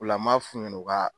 U la m'a f'u ɲɛna o ka